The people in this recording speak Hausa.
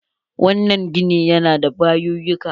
Wannan gini ya na da bayuyyuka.